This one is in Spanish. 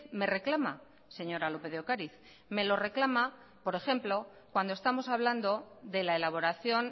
me reclama señora lópez de ocariz me lo reclama por ejemplo cuando estamos hablando de la elaboración